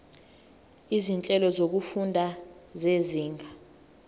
izinhlelo zokufunda zezinga